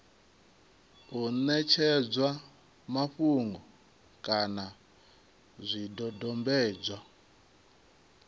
u ṋetshedzwa mafhungo kana zwidodombedzwa